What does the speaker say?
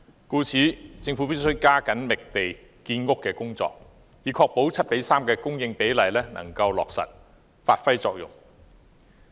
故此，政府必須加緊進行覓地建屋的工作，以確保 7：3 的供應比例能夠落實。